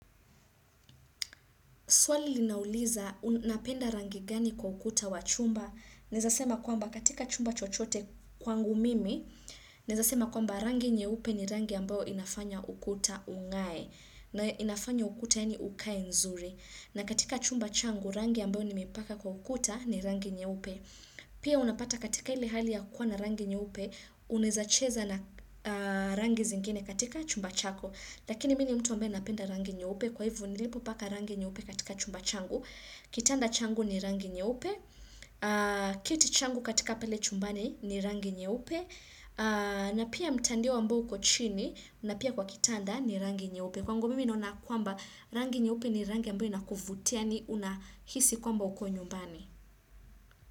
Swali linauliza, unapenda rangi gani kwa ukuta wa chumba, naezasema kwamba katika chumba chochote kwangu mimi, naezasema kwamba rangi nyeupe ni rangi ambayo inafanya ukuta ung'ae na inafanya ukuta yani ukae nzuri. Na katika chumba changu, rangi ambayo nimeipaka kwa ukuta ni rangi nyeupe. Pia unapata katika ile hali ya kuwa na rangi nyeupe Unaeza cheza na rangi zingine katika chumba chako Lakini mi ni mtu ambaye napenda rangi nyeupe Kwa hivo nilipo paka rangi nyeupe katika chumba changu Kitanda changu ni rangi nye upe kiti changu katika pale chumbani ni rangi nyeupe na pia mtandio ambao uko chini na pia kwa kitanda ni rangi nyeupe kwangu mimi naona kwamba rangi nyeupe ni rangi ambayo inakuvutia yani unahisi kwamba uko nyumbani.